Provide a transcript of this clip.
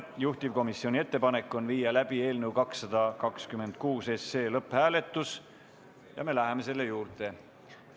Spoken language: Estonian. Juhtivkomisjoni ettepanek on viia läbi eelnõu 226 lõpphääletus ja me läheme selle juurde.